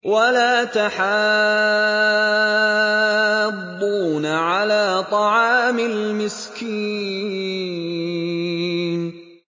وَلَا تَحَاضُّونَ عَلَىٰ طَعَامِ الْمِسْكِينِ